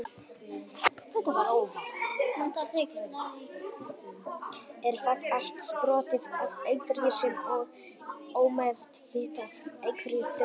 Er það allt sprottið af einhverju sem er ómeðvitað, einhverju dulvituðu?